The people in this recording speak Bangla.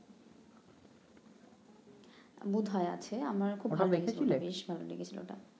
বোধ হয় আছে আমার খুব ভাল লেগেছিল বেশ ভাল লেগেছিল ওটা